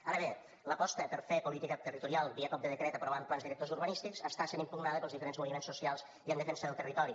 ara bé l’aposta per fer política territorial via cop de decret aprovant plans directors urbanístics està sent impugnada pels diferents moviments socials i en defensa del territori